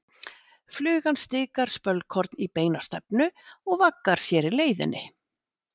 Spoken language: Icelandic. Flugan stikar spölkorn í beina stefnu og vaggar sér á leiðinni.